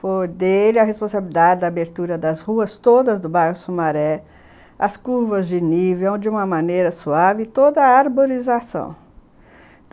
Foi dele a responsabilidade da abertura das ruas todas do bairro Sumaré, as curvas de nível, de uma maneira suave, toda a arborização.